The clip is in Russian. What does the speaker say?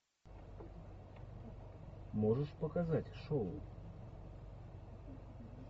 можешь показать шоу